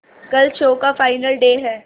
कल शो का final day है